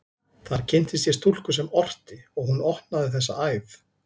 Þar kynntist ég stúlku sem orti, og hún opnaði þessa æð.